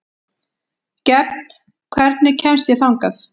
Gefn, hvernig kemst ég þangað?